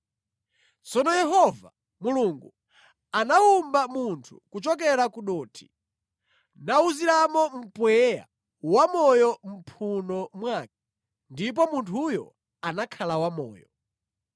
Tsono Yehova Mulungu anawumba munthu kuchokera ku dothi nawuziramo mpweya wamoyo mʼmphuno mwake ndipo munthuyo anakhala wamoyo.